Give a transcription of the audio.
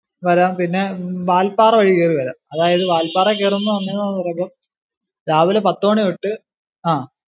വരാം പിന്നെ വാൽപ്പാറ വഴി കേറി വരം. അതായതു വാല്പാറേ കേറുമ്പോ . രാവിലെ പത്തു മാണി തൊട്ടു ആ